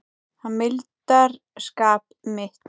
Hann mildar skap mitt.